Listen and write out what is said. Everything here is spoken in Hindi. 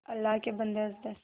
अल्लाह के बन्दे हंस दे